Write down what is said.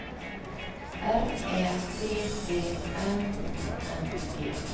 R Ä D D N I N G